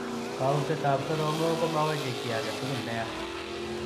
Kautaet ap soromok komawechei kiy age tugul neyaa